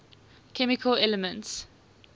chemical elements